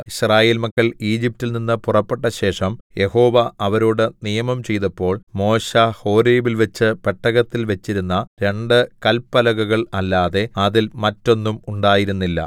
യിസ്രായേൽ മക്കൾ ഈജിപ്റ്റിൽ നിന്ന് പുറപ്പെട്ടശേഷം യഹോവ അവരോടു നിയമം ചെയ്തപ്പോൾ മോശെ ഹോരേബിൽവെച്ച് പെട്ടകത്തിൽ വെച്ചിരുന്ന രണ്ടു കല്പലകകൾ അല്ലാതെ അതിൽ മറ്റൊന്നും ഉണ്ടായിരുന്നില്ല